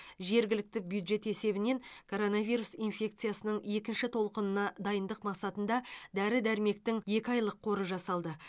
жергілікті бюджет есебінен коронавирус инфекциясының екінші толқынына дайындық мақсатында дәрі дәрмектің екі айлық қоры жасалды